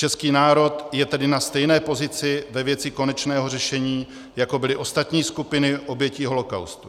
Český národ je tedy na stejné pozici ve věci konečného řešení, jako byly ostatní skupiny obětí holocaustu.